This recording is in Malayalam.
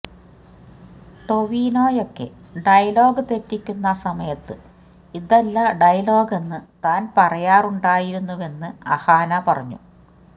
ടൊവിനോയൊക്കെ ഡയലോഗ് തെറ്റിക്കുന്ന സമയത്ത് ഇതല്ല ഡയലോഗെന്ന് താന് പറയാറുണ്ടായിരുന്നുവെന്ന് അഹാന പറഞ്ഞു